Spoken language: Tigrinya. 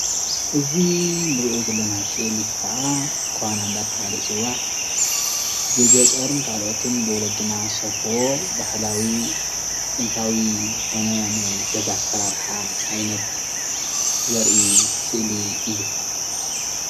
እዚ ንርእዮ ዘለና ስእሊ ከዓ ኳና እንዳተባሃለ ዝፅዋዕ ብገጠርን ካሎአትን ብወለድና ዝሰርሕዎ ባህላዊ ጥንታዊ ዝኾነ ናይ ገዛ ኣሰራርሓ ዓይነት ዘርኢ ስእሊ እዩ።